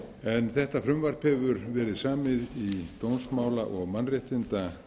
laga þetta frumvarp hefur verið samið í dómsmála og mannréttindaráðuneytinu